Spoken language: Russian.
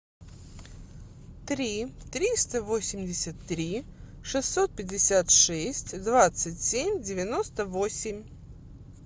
три триста восемьдесят три шестьсот пятьдесят шесть двадцать семь девяносто восемь